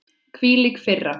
Hvílík firra.